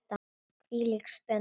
Hvílík stund.